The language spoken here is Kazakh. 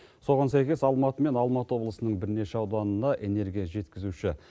соған сәйкес алматы мен алматы облысының бірнеше ауданына энергия жеткізуші